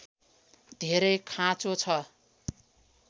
धेरै खाँचो छ